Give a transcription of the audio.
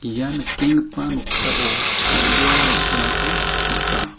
ia nikenggipa noksao bang·bea rong·terangko nika.